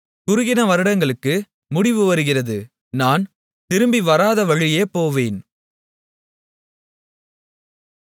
குறுகின வருடங்களுக்கு முடிவு வருகிறது நான் திரும்பிவராதவழியே போவேன்